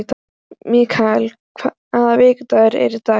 Mikael, hvaða vikudagur er í dag?